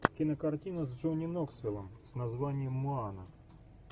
кинокартина с джонни ноксвиллом с названием моана